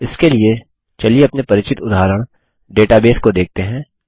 इसके लिए चलिए अपने परिचित उदाहरण डेटाबेस को देखते हैं